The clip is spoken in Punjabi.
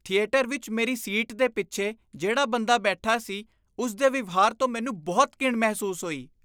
ਥੀਏਟਰ ਵਿੱਚ ਮੇਰੀ ਸੀਟ ਦੇ ਪਿੱਛੇ ਜਿਹੜਾ ਬੰਦਾ ਬੈਠਾ ਸੀ ਉਸਦੇ ਵਿਵਹਾਰ ਤੋਂ ਮੈਨੂੰ ਬਹੁਤ ਘਿਣ ਮਹਿਸੂਸ ਹੋਈ ।